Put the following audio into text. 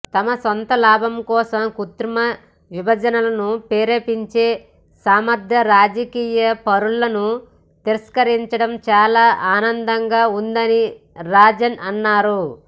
తమ సొంత లాభం కోసం కృత్రిమ విభజనలను ప్రేరేపించే స్వార్థరాజకీయ పరులను తిరస్కరించడం చాలా ఆనందంగా ఉందని రాజన్ అన్నారు